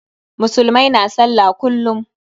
Musulmai na sallah kullum.